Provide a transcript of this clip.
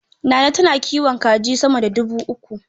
Nana tana kiwon kaji sama da dubu uku.